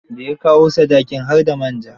Da ya kawo sadakin, har da man ja.